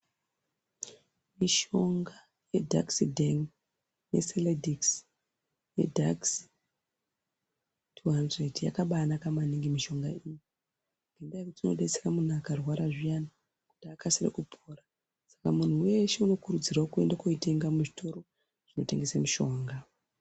Mishonga yedhakisi dheni neselekidhisi, yedhakisi tuhandiredhi yakabai naka maningi mishonga iyi ngendaa yokuti inotobetsere munhu akarwara zviyani kuti akasire kupora saka muntu weshe anokurudzirwa kuenda koitenga muzvitoro zvinotengeswe mishonga.